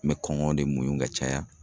An bɛ kɔngɔ de muɲu ka caya.